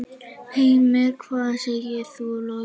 Heimir: Hvað segir þú, Logi?